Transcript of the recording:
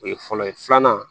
O ye fɔlɔ ye filanan